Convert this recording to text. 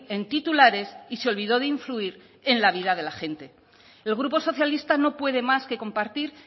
en titulares y se olvidó de influir en la vida de la gente el grupo socialista no puede más que compartir